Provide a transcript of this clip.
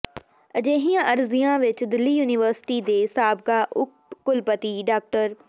ਅਜਿਹੀਆਂ ਅਰਜ਼ੀਆਂ ਵਿਚ ਦਿੱਲੀ ਯੂਨੀਵਰਸਿਟੀ ਦੇ ਸਾਬਕਾ ਉਪ ਕੁਲਪਤੀ ਡਾ